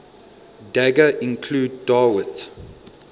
daga include dawit